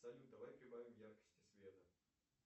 салют давай прибавим яркости света